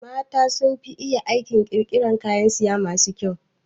Mata sun fi iya aikin ƙirƙiran kayan saya masu kyau